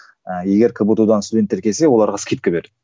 ы егер кбту дан студенттер келсе оларға скидка